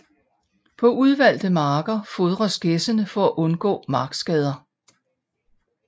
På udvalgte marker fodres gæssene for at undgå markskader